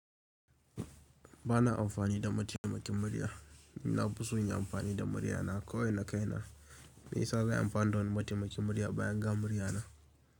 Bana amfani da mataimakin murya, ni na fiso in yi amfani da murya na kawai na, kaina. Me yasa zan yi amfani da wani mataimakin murya bayan ga murya na?